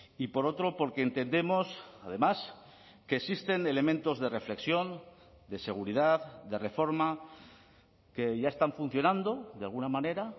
y por otro porque entendemos además que existen elementos de reflexión de seguridad de reforma que ya están funcionando de alguna manera